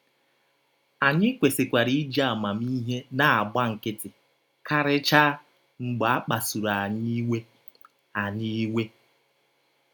Anyị kwesịkwara iji amamihe na - agba nkịtị, karịchaa, mgbe a kpasụrụ anyị iwe. anyị iwe.